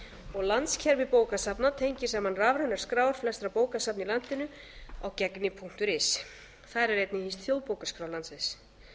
og landskerfi bókasafna tengir saman rafrænar skrár flestra bókasafna í landinu á gegnir punktur is en þar er einnig hýst þjóðbókaskrá landsins